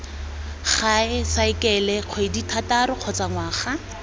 gae saekele kgwedithataro kgotsa ngwaga